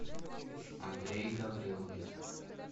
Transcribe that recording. андрей гаврилович